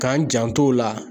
K'an janto o la.